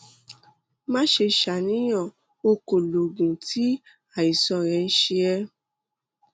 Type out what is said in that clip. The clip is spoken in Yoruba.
má ṣe ṣàníyàn o kò lo oògùn tí àìsàn rẹ ń ṣe é